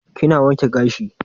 Kina wanke gashi?